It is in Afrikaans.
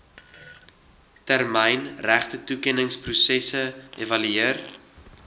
termyn regtetoekenningsproses evalueer